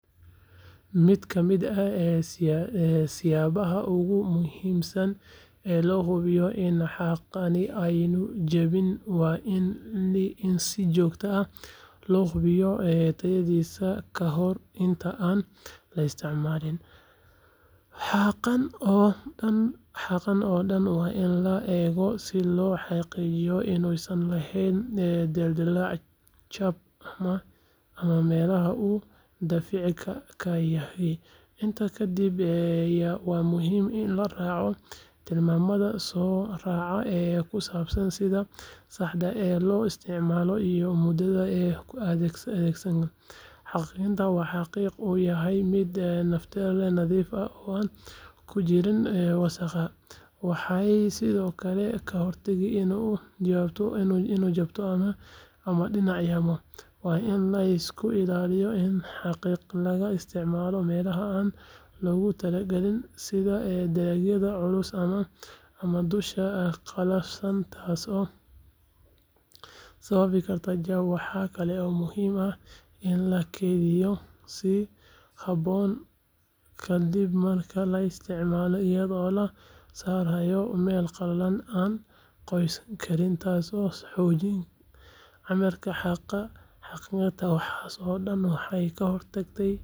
Miid kamiid ah siyabaha oogu muhimsan ee loo hubiyo iin xaqani aynu jawin waa in sijogta ah lohubiyo tayadisa kahor inta aan laistimaalin . Xaqan oodan in la eego sii lo xaqiijiyo inun san lahen dildilc jab ama meelaha uu dafiici kayahay inta kadib waa muhim in laraaco tilmaamada sooraca kusabsan sida saxda ee loo isticmaalo iyo mudatha kuathegsan. xaqiqinta waxa xaqiq uu yahay mid nafteleh nathiif ah on kujirin wasaqa. Waxay sidookale kahortagii ino jabto ama dinacyaamo waa in ay isku ilaaliyo in xaqiq laga isticmaalo meelaha aan loogu talagalin sida ee deegyada culus ama duusha aa qalafsan taaso sawabi karto jab. Waxa kale oo muhiim ah in lakiithiyo sii haboon kadib marka laisticmalo iyado lasaarayo meel qalalan an qoisan kariin taaso xoojin camirka xaqa xaqirta waxaasoodan waxay ka hortagtay...